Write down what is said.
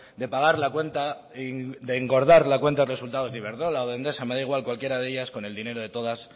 de pagar la cuenta de engordar la cuenta de resultados de iberdrola o de endesa me da igual cualquiera de ellas con el dinero de todas